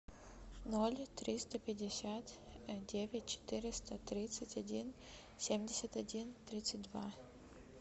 ноль триста пятьдесят девять четыреста тридцать один семьдесят один тридцать два